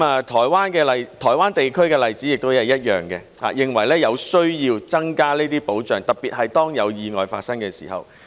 台灣地區的例子亦是一樣，他們認為有需要增加保障，特別是當有意外發生的時候。